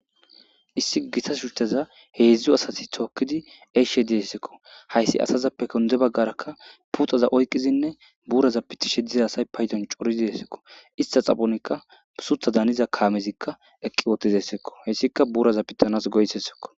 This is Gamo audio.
issi gitta shuchchaza heedzdzu assati tookiidi e'ishshe dizayssakko hayssi asazappe gunde baggarakka putaza oykkidiinne buuraza pitishshe diza asay payddon coridi dessekko ista xaphphonikka suththadda haniza kaamezikka eqqi uttidessikko hayssikka buuraza pitanas goysesekko